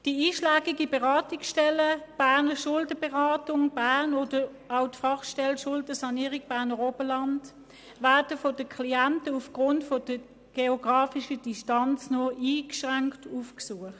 Die einschlägigen Beratungsstellen «Berner Schuldenberatung» oder die «Fachstelle Schuldensanierung Berner Oberland» werden von den Klienten aufgrund der geografischen Distanz nur beschränkt aufgesucht.